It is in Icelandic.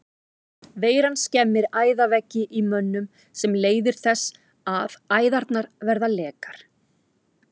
Veiran skemmir æðaveggi í mönnum sem leiðir þess að æðarnar verða lekar.